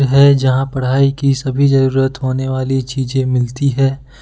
है जहां पढ़ाई की सभी जरूरत होने वाली चीजें मिलती है।